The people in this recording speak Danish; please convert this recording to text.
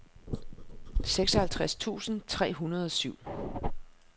seksoghalvtreds tusind tre hundrede og syv